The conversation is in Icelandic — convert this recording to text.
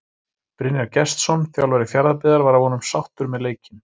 Brynjar Gestsson þjálfari Fjarðabyggðar var að vonum sáttur með leikinn.